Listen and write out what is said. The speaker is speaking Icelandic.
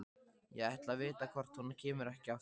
Ég ætla að vita hvort hún kemur ekki aftur.